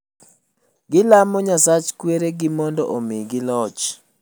Gilamo nyasach kwere gi omdo omigi loch